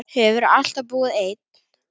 Hefurðu alltaf búið einn?